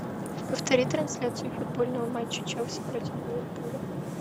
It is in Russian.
повтори трансляцию футбольного матча челси против ливерпуля